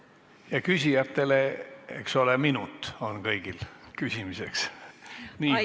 Küsijatele: eks ole, minut on kõigil küsimiseks.